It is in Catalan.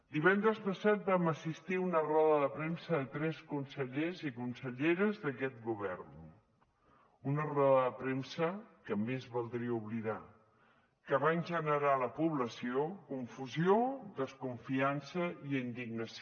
divendres passat vam assistir a una roda de premsa de tres consellers i conselleres d’aquest govern una roda de premsa que més valdria oblidar que va generar a la població confusió desconfiança i indignació